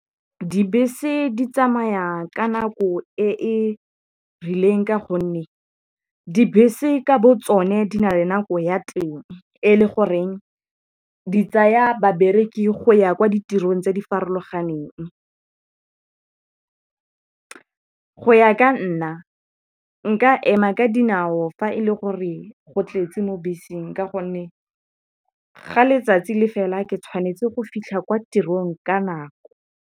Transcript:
Dibese di tsamaya ka nako e e rileng ka gonne dibese ka bo tsone di na le nako ya teng e le goreng di tsaya babereki go ya kwa ditirong tse di farologaneng. Go ya ka nna nka ema ka dinao fa e le gore go tletse mo beseng ka gonne ga letsatsi le fela ke tshwanetse go fitlha kwa tirong ka nako.